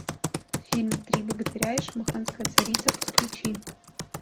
фильм три богатыря и шамаханская царица подключи